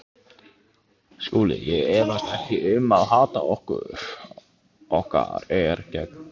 SKÚLI: Ég efast ekki um að hatur okkar er gagnkvæmt.